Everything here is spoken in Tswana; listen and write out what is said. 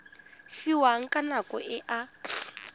fiwang ka nako e a